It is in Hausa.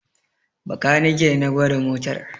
Bakanike na gwada motar